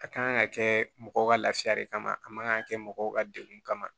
A kan ka kɛ mɔgɔw ka lafiya de kama a man kan ka kɛ mɔgɔw ka degun kama